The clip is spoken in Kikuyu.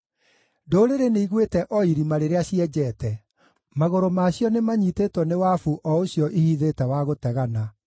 Ndũrĩrĩ nĩigwĩte o irima rĩrĩa cienjete; magũrũ maacio nĩmanyiitĩtwo nĩ wabu o ũcio ihithĩte wa gũtegana.